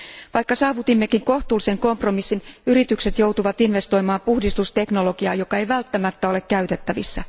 Vaikka saavutimmekin kohtuullisen kompromissin, yritykset joutuvat investoimaan puhdistusteknologiaan, joka ei välttämättä ole käytettävissä.